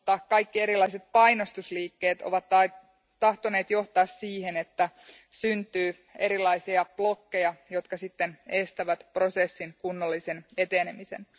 Kaikki erilaiset painostusliikkeet ovat tahtoneet johtaa siihen, että syntyy erilaisia blokkeja, jotka estävät prosessin kunnollisen etenemisen.